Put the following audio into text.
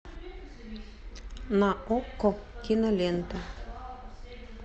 на окко кинолента